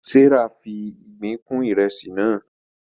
Serah fí ìgbín kún Ìrẹsí naa